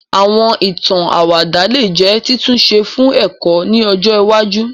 Àwọn ìtàn àwàdà lè jẹ́ títúnṣe fún ẹ̀kọ́ ni ọjọ iwájú